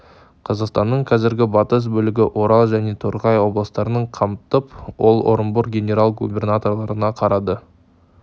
қазақстанның қазіргі батыс бөлігі орал және торғай облыстарын қамтып ол орынбор генерал-губернаторлығына қарады